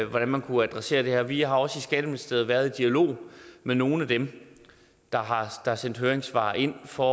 hvordan man kunne adressere det her og vi har også i skatteministeriet været i dialog med nogle af dem der har sendt høringssvar ind for